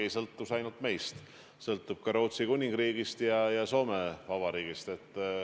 Ei sõltu see ainult meist, see sõltub ka Rootsi Kuningriigist ja Soome Vabariigist.